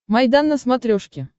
майдан на смотрешке